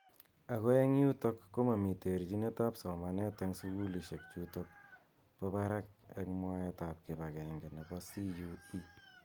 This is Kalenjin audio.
Ako eng yutok komami terchinet ab somanet eng sukulishek chutok ba barak eng mwaet ap kipange nebo CUE.